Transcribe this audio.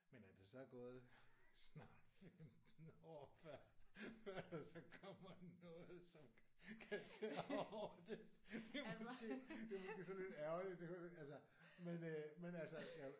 Men at der så er gået snart 15 år før før der så kommer noget som kan tage over det det er måske det er måske sådan lidt ærgerligt altså men øh men altså